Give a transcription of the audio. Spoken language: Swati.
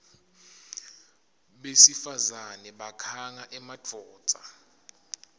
besifazane bakhanga emadvodza